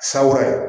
San wɛrɛ